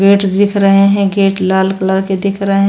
Gate दिख रहे हैं गेट लाल कलर के दिख रहे हैं।